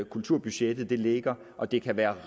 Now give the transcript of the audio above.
kulturbudgettet ligger og det kan være